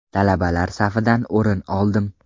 Talabalar safidan o‘rin oldim.